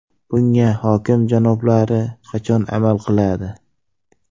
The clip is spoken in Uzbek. Bunga hokim janoblari qachon amal qiladi?